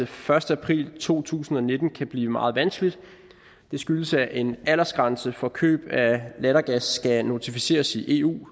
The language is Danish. første april to tusind og nitten kan blive meget vanskeligt det skyldes at en aldersgrænse for køb af lattergas skal notificeres i eu